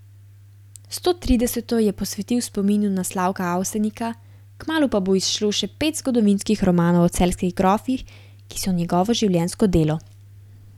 Stotrideseto je posvetil spominu na Slavka Avsenika, kmalu pa bo izšlo še pet zgodovinskih romanov o celjskih grofih, ki so njegovo življenjsko delo.